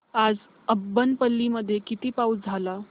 आज अब्बनपल्ली मध्ये किती पाऊस झाला